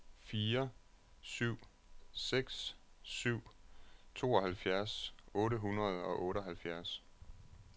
fire syv seks syv tooghalvfjerds otte hundrede og otteoghalvfjerds